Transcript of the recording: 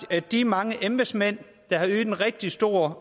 de mange embedsmænd der har ydet en rigtig stor